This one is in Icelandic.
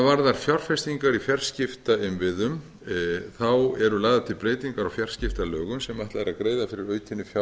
varðar fjárfestingar í fjarskiptainnviðum eru lagðar til breytingar á fjarskiptalögum sem ætlað er að greiða fyrir aukinni fjárfestingu í